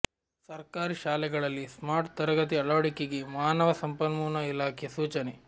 ಸರ್ಕಾರಿ ಶಾಲೆಗಳಲ್ಲಿ ಸ್ಮಾರ್ಟ್ ತರಗತಿ ಅಳವಡಿಕೆಗೆ ಮಾನವ ಸಂಪನ್ಮೂಲ ಇಲಾಖೆ ಸೂಚನೆ